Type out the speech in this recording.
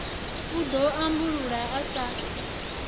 u ḓo ambulula a sa